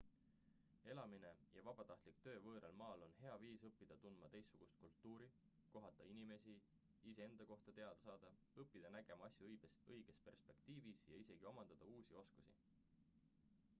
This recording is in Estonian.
elamine ja vabatahtlik töö võõral maal on hea viis õppida tundma teistsugust kultuuri kohata inimesi iseenda kohta teada saada õppida nägema asju õiges perspektiivis ja isegi omandada uusi oskusi